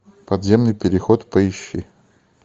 подземный переход поищи